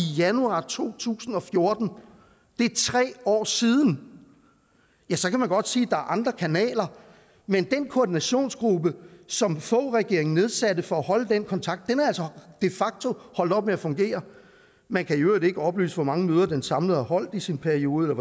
januar to tusind og fjorten det er tre år siden så kan man godt sige at er andre kanaler men den koordinationsgruppe som foghregeringen nedsatte for at holde den kontakt er altså de facto holdt op med at fungere man kan i øvrigt ikke oplyse hvor mange møder den samlet har holdt i sin periode